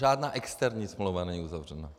Žádná externí smlouva není uzavřena.